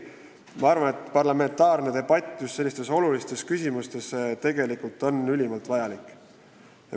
Ma arvan, et parlamentaarne debatt sellistes olulistes küsimustes on ülimalt vajalik.